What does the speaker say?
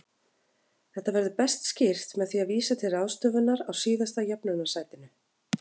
Þetta verður best skýrt með því að vísa til ráðstöfunar á síðasta jöfnunarsætinu.